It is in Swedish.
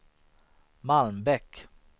Malmbäck